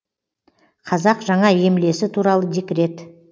қазақ жаңа емлесі туралы декрет